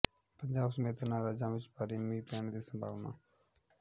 ਪੰਜਾਬ ਸਮੇਤ ਇਹਨਾਂ ਰਾਜਾਂ ਵਿੱਚ ਭਾਰੀ ਮੀਂਹ ਪੈਣ ਦੀ ਸੰਭਾਵਨਾ